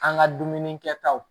An ka dumuni kɛtaw